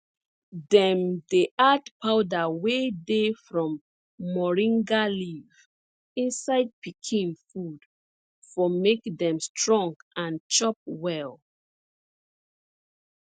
dem dey add powder wey dey from moringa leaf inside pikin food for make dem strong and chop well